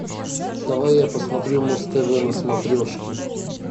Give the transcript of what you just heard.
давай я посмотрю муз тв на смотрешке